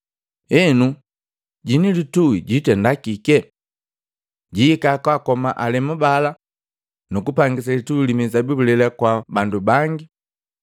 Enu, jwini litui jwitenda kike? “Jwihika kaakoma alemu bala nukupangisa litui li mizabibu lela kwa bandu bangi.